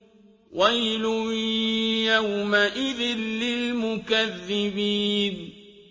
وَيْلٌ يَوْمَئِذٍ لِّلْمُكَذِّبِينَ